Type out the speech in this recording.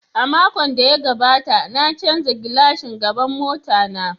A makon da ya gabata na canza glashin gaban mota na.